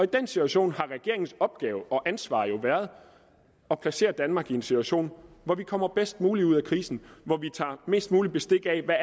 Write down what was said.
den situation har regeringens opgave og ansvar jo været at placere danmark i en situation hvor vi kommer bedst muligt ud af krisen og hvor vi tager mest muligt bestik af hvad